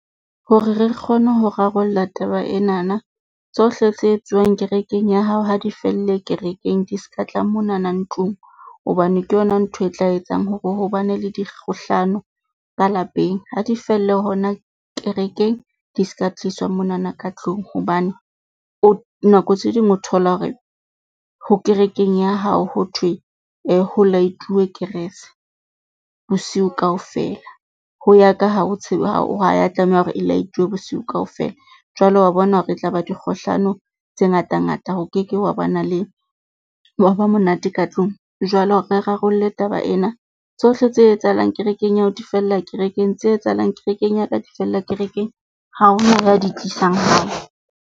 Hore re re kgone ho rarolla taba enana tsohle tse etsuwang kerekeng ya hao, ha di felle kerekeng di ska tla monana ntlong. Hobane ke yona ntho e tla etsang hore hobane le dikgohlano ka lapeng ha di felle hona kerekeng. Di se ka tliswa monana ka tlung hobane, o nako tse ding o thola hore ho kerekeng ya hao ho thwe ho light-uwe kerese bosiu kaofela. Ho ya ka ha o tseba hore ha ya, tlameha hore e laetuwe bosiu kaofela. Jwale wa bona hore e tlaba dikgohlano tse ngata ngata. Ho keke wa bana le, wa ba monate ka tlung. Jwale hore re rarolle taba ena tsohle tse etsahalang kerekeng ya hao di fella kerekeng, tse etsahalang kerekeng ya ka di fella kerekeng. Ha hona ya di tlisang hae.